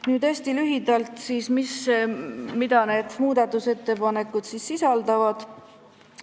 Nüüd hästi lühidalt sellest, mida need muudatusettepanekud sisaldavad.